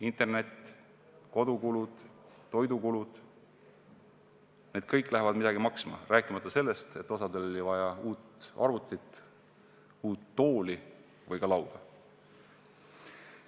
Internet, kodukulud, toidukulud – kõik läheb midagi maksma, rääkimata sellest, et osal lastel oli vaja uut arvutit, uut tooli või ka lauda.